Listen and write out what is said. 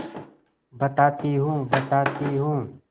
बताती हूँ बताती हूँ